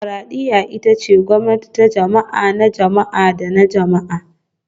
Dimokuradiyya ita ce gwamnati ta jama'a, na jama'a da na jama'a